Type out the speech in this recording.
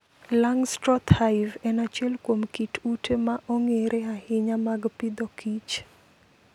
Langstroth Hive en achiel kuom kit ute ma ong'ere ahinya mag Agriculture and Food